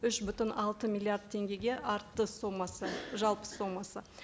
үш бүтін алты миллиард теңгеге артты сомасы жалпы сомасы